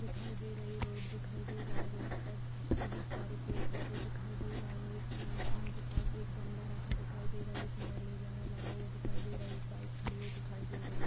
दिखाई दे रही रोड दिखाई दे रहा है रोड पर बहुत सारे पैड पौधे दिखाई दे रहे है एक मकान के पास एक गमला रखा दिखाई दे रहा है जिसमे एलोवेरा लगा हुआ दिखाई दे रहा है एक बाइक खड़ी हुई दिखाई दे रही है।